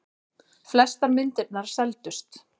Flestar myndirnar seldust.